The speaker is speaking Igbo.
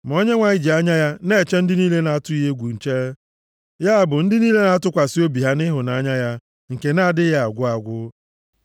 Ma Onyenwe anyị ji anya ya na-eche ndị niile na-atụ ya egwu nche, ya bụ ndị niile na-atụkwasị obi ha nʼịhụnanya ya, nke na-adịghị agwụ agwụ.